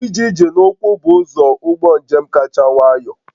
Ije ije n'ụkwụ bụ ụzọ ụgbọ njem kacha nwayọ